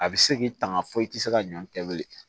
A bɛ se k'i tanga fɔ i tɛ se ka ɲɔ kɛ bilen